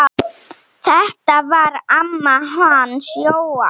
Þetta var amma hans Jóa.